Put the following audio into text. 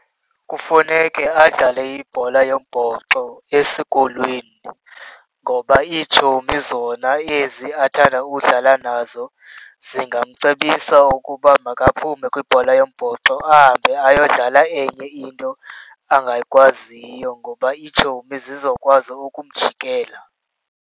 Kufuneke adlale ibhola yombhoxo esikolweni ngoba iitshomi zona ezi athanda udlala nazo zingamacebisa ukuba makaphume kwibhola yombhoxo ahambe ayodlala enye into angakwaziyo, ngoba itshomi zizokwazi ukumjikela.